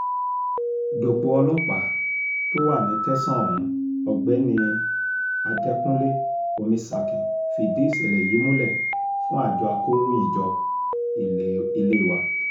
dòpò ọlọ́pàá tó wà ní tẹ̀sán ohun ọ̀gbẹ́ni adẹkùnlé omisakin fìdí ìṣẹ̀lẹ̀ yìí múlẹ̀ fún àjọ akọ̀ròyìnjọ ilé wa